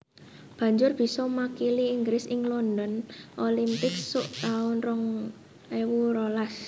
Banjur bisa makili Inggris ing London Olympics suk taun rong ewu rolas